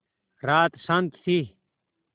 रात शान्त थी